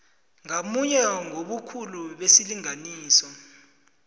ngamunye ngobukhulu besilinganiso